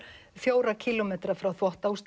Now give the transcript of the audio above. fjóra kílómetra frá